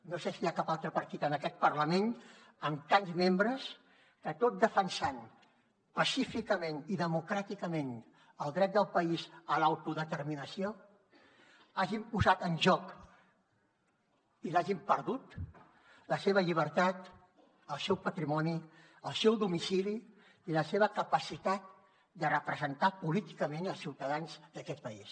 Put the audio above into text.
no sé si hi ha cap altre partit en aquest parlament amb tants membres que tot defensant pacíficament i democràticament el dret del país a l’autodeterminació hagin posat en joc i l’hagin perdut la seva llibertat el seu patrimoni el seu domicili i la seva capacitat de representar políticament els ciutadans d’aquest país